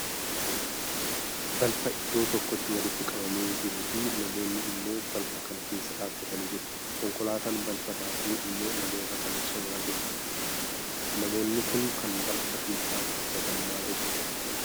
Balfa iddoo tokkotti walitti qabamee jiruu fi namoonni immoo balfa kana keessa dhaabbatanii jiru. Konkolaataan balfa daaku immoo namoota kana cinaa jira. Namoonni Kun kan balfa keessa dhaabbatan maal hojjetu?